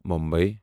Mumbai